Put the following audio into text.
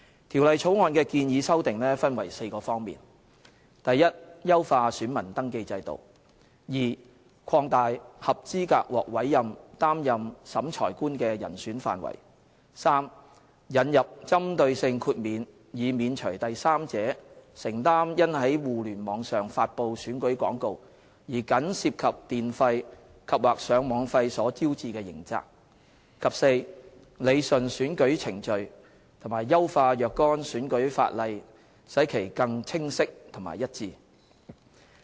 《條例草案》的建議修訂分為4方面： a 優化選民登記制度； b 擴大合資格獲委任擔任審裁官的人選範圍； c 引入針對性豁免，免除第三者承擔因在互聯網上發布僅涉及電費及/或上網費的選舉廣告而招致的刑責；及 d 理順選舉程序，並優化若干選舉法例，使其更清晰和一致。